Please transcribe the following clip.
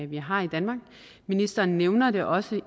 vi har i danmark ministeren nævner det også